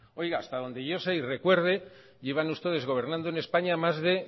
oiga hasta donde yo sé y recuerde llevan ustedes gobernando en españa más de